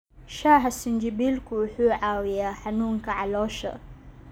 Shaaha sinjibiilku wuxuu caawiyaa xanuunka caloosha.